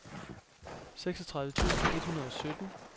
seksogtredive tusind et hundrede og sytten